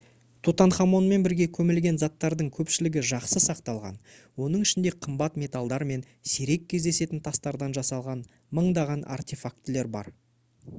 тутанхамонмен бірге көмілген заттардың көпшілігі жақсы сақталған оның ішінде қымбат металдар мен сирек кездесетін тастардан жасалған мыңдаған артефактілер бар